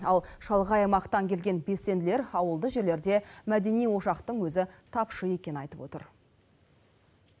ал шалғай аймақтан келген белсенділер ауылды жерлерде мәдени ошақтың өзі тапшы екенін айтып отыр